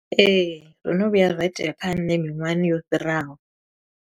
Ee, zwono vhuya zwa itea kha nṋe miṅwahani yo fhiraho.